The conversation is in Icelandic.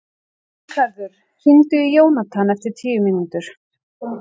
Ríkharður, hringdu í Jónathan eftir tíu mínútur.